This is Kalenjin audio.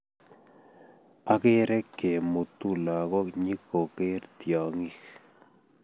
Ageree kemuutu lagook nyikogeer tyongik